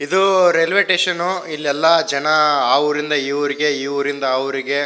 ಇದು railway station ಇಲ್ಲೆಲ್ಲಾ ಜನ ಆ ಊರಿಂದ ಈ ಊರಿಗೆ ಈ ಊರಿಂದ ಆ ಊರಿಗೆ--